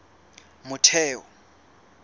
motheo